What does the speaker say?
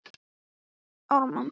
Þetta er fínt viskí, sagði Björn.